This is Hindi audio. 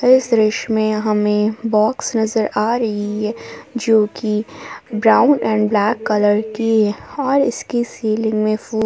इस दृश्य में हमें बॉक्स नजर आ रही है जोकि ब्राउन एंड ब्लैक कलर की और इसकी सीलिंग में फु--